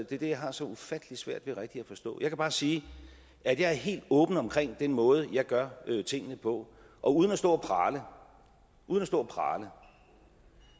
er det jeg har så ufattelig svært ved rigtig at forstå jeg kan bare sige at jeg er helt åben omkring den måde jeg gør tingene på og uden at stå og prale uden at stå og prale